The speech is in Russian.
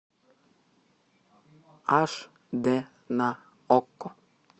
аш дэ на окко